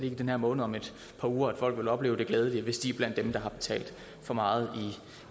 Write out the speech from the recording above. i den her måned om et par uger at folk vil opleve det glædelige hvis de er blandt dem der har betalt for meget